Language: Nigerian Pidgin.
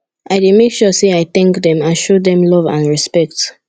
i dey make sure say i thank dem and show dem love and respect